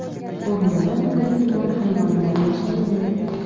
O‘rmonda turli-tuman hayvonlar yashaydi.